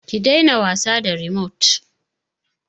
Ki daina wasa da rimot!